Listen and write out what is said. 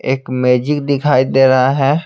एक मैजिक दिखाई दे रहा है।